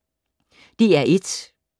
DR1